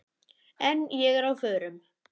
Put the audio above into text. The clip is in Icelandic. En ég er á förum.